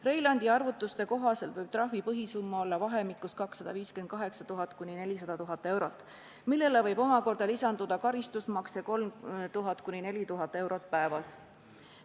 Reilandi arvutuste kohaselt võib trahvi põhisumma olla vahemikus 258 000 – 400 000 eurot, millele võib omakorda lisanduda karistusmakse 3000–4000 eurot päevas.